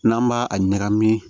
N'an b'a a ɲagami